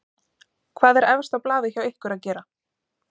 Hvað er efst á blaði hjá ykkur að gera?